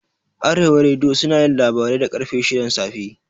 Arewa rediyo sunayin labarai da ƙarfe shidan safe